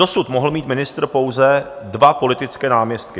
Dosud mohl mít ministr pouze dva politické náměstky.